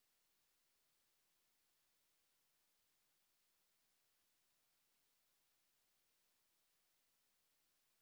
blender Guru com the ultimate guide to buying a computer for Blender ਨੂੰ ਇਕ